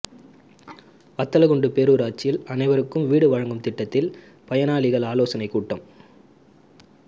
வத்தலக்குண்டு பேரூராட்சியில் அனைருவக்கும் வீடு வழங்கும் திட்டத்தில் பயனாளிகள் ஆலோசனைக் கூட்டம்